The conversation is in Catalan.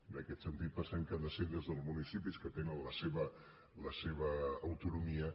en aquest sentit pensem que ha de ser des dels municipis que tenen la seva autonomia